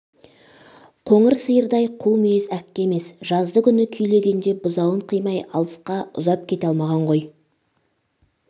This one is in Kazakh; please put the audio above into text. қоңыр сиырдай қу мүйіз әккі емес жазды күні күйлегенде бұзауын қимай алысқа ұзап кете алмаған ғой